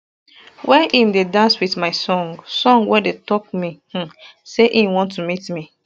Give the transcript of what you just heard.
wey im dey dance wit my song song wey dey tok me um say im want to meet me